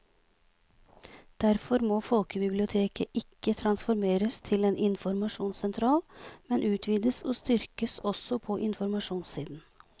Derfor må folkebiblioteket ikke transformeres til en informasjonssentral, men utvides og styrkes også på informasjonssiden.